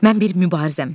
Mən bir mübarizəm.